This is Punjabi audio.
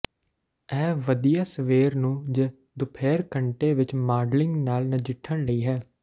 ਇਹ ਵਧੀਆ ਸਵੇਰ ਨੂੰ ਜ ਦੁਪਹਿਰ ਘੰਟੇ ਵਿੱਚ ਮਾਡਲਿੰਗ ਨਾਲ ਨਜਿੱਠਣ ਲਈ ਹੈ